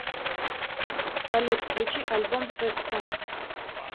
салют включи альбом сэд сонгс